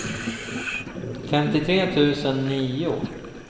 femtiotre tusen nio